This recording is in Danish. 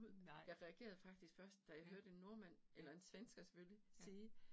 Nej. Ja, ja, ja